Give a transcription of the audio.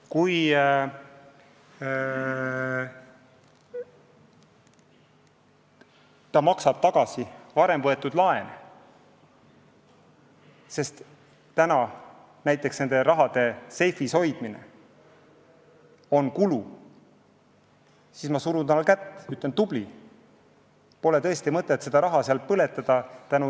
Kui ta maksab tagasi varem võetud laenu, sest selle raha seifis hoidmine on kulu, siis ma surun tal kätt ja ütlen: tubli, pole tõesti mõtet seda raha seal põletada!